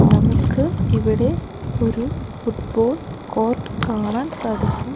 നമുക്ക് ഇവിടെ ഒരു ഫുട് ബോൾ കോർട്ട് കാണാൻ സാധിക്കും.